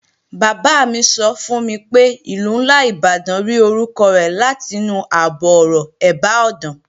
Bàbá mi sọ fún mi pé Ìlú ńlá Ìbàdàn rí orúkọ rẹ̀ látinú àbọ̀-ọ̀rọ̀, "ẹ̀bá ọ̀dàn"